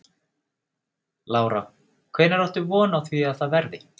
Lára: Hvenær áttu von á því að það verði?